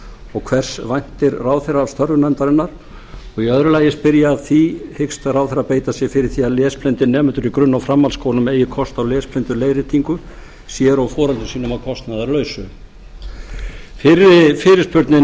og hvers væntir ráðherra af störfum nefndarinnar í öðru lagi spyr ég að því hyggst ráðherra beita sér fyrir því að lesblindir nemendur í grunn og framhaldsskólum eigi kost á lesblinduleiðréttingu sér og foreldrum sínum að kostnaðarlausu fyrri fyrirspurnin